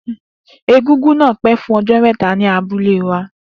Egúngún náà pẹ́ fún ọjọ́ mẹ́ta ní abúlé wa